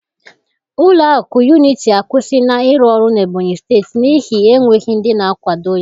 Ụlọ akụ Unity akwụsịla ịrụ ọrụ n'Ebonyi steeti n'ihi enweghị ndị na-akwado ya